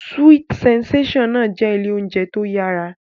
Sweet sensation náà jẹ́ ilé oúnjẹ tó yára